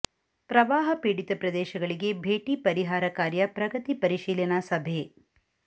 ಪ್ರವಾಹ ಪೀಡಿತ ಪ್ರದೇಶಗಳಿಗೆ ಭೇಟಿ ಪರಿಹಾರ ಕಾರ್ಯ ಪ್ರಗತಿ ಪರಿಶೀಲನಾ ಸಭೆ